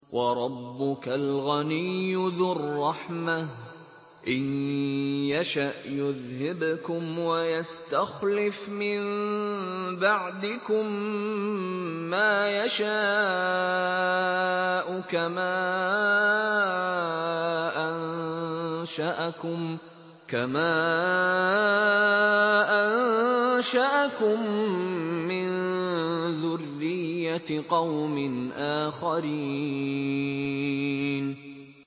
وَرَبُّكَ الْغَنِيُّ ذُو الرَّحْمَةِ ۚ إِن يَشَأْ يُذْهِبْكُمْ وَيَسْتَخْلِفْ مِن بَعْدِكُم مَّا يَشَاءُ كَمَا أَنشَأَكُم مِّن ذُرِّيَّةِ قَوْمٍ آخَرِينَ